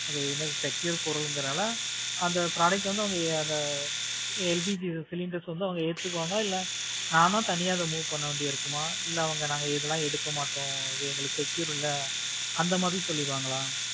secure பொருள்கறதுனால அந்த product அது வந்து ஆஹ் LPG cylinders வந்து எடுத்துப்பாங்களா இல்ல நான்தான் அதை வந்து தனியா move பண்ண வேண்டியது இருக்குமா? இல்ல அவங்க நாங்க இதெல்லாம் எடுக்க மாட்டோம் எங்களுக்கு secure இல்ல அந்த மாதிரி சொல்லிடுவாங்களா?